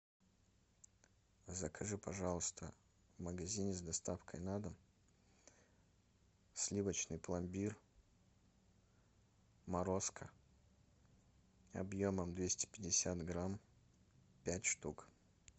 закажи пожалуйста в магазине с доставкой на дом сливочный пломбир морозко объемом двести пятьдесят грамм пять штук